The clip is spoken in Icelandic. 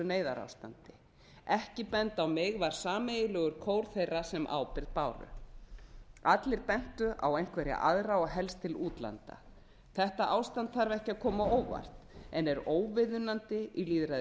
neyðarástandi ekki benda á mig var sameiginlegur kór þeirra sem ábyrgð báru allir bentu á einhverja aðra og helst til útlanda þetta ástand þarf ekki að koma á óvart en er óviðunandi í